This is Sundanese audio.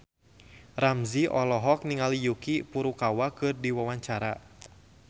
Ramzy olohok ningali Yuki Furukawa keur diwawancara